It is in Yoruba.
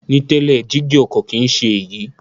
Ní tẹ́lẹ̀, jígí ọkọ̀ kìí ṣe é yí